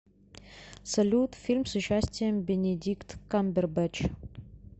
салют фильм с участием бенедикт камбербэтч